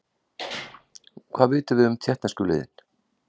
Hvað vitum við um Tékkneska liðið?